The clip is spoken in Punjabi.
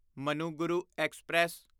ਮਨੁਗੁਰੂ ਐਕਸਪ੍ਰੈਸ